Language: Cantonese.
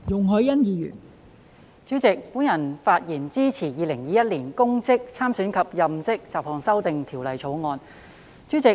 代理主席，我發言支持《2021年公職條例草案》。